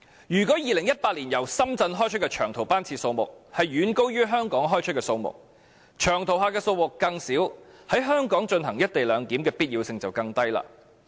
如果2018年由深圳開出的長途班次數目遠高於從香港開出的數目，長途客的數目越少，在香港進行"一地兩檢"的必要性便越低。